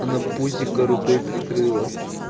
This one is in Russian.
она пузико рукой прикрыла